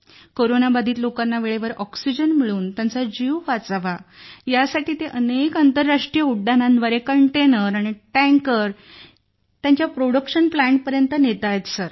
corona बाधित लोकांना वेळेवर ऑक्सिजन मिळून त्यांचा जीव वाचवा यासाठी ते अनेक आंतरराष्ट्रीय उड्डाणांद्वारे कंटेनर आणि टँकर त्यांच्या प्रोडक्शन प्लांट पर्यंत पोहोचवत आहेत